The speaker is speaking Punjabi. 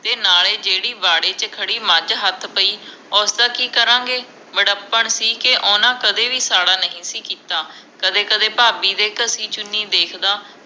ਤੇ ਨਾਲੇ ਜੇੜ੍ਹੀ ਵਾਢੇ ਚ ਖੜੀ ਮੱਝ ਹੱਥ ਪਈ ਉਸ ਦਾ ਕਿ ਕਰਾਂ ਗੇ ਵਡੱਪਣ ਸੀ ਕਿ ਓਹਨਾ ਨੇ ਕਦੇ ਸਾਹੜਾ ਨਹੀਂ ਸੀ ਕੀਤਾ ਕਦੇ ਕਦੇ ਭਾਬੀ ਦੇ ਘਸੀ ਚੁੰਨੀ ਵੇਖਦਾ